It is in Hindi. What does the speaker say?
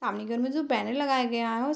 सामने घर में जो बैनर लगाया गया है उस --